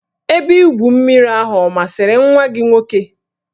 Ebe igwu mmiri ahụ ọ masịrị nwa gị nwoke?